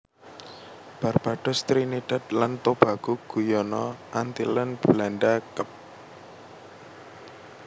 Barbados Trinidad dan Tobago Guyana Antillen Belanda Kep